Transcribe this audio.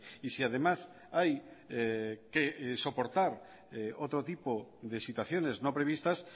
y si además hay que soportar otro tipo de situaciones no previstas